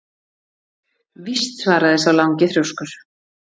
Víst svaraði sá langi þrjóskur.